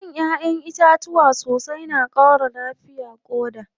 Shan ƴaʼƴen itatuwa sosai na ƙara lafiyar ƙoda.